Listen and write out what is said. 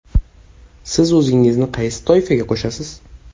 Siz o‘zingizni qaysi toifaga qo‘shasiz?